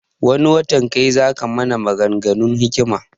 Wani watan kai zaka mana magan ganun hikima